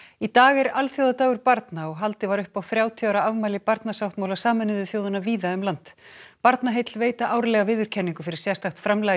í dag er alþjóðadagur barna og haldið var upp á þrjátíu ára afmæli barnasáttmála Sameinuðu þjóðanna víða um land Barnaheill veita árlega viðurkenningu fyrir sérstakt framlag í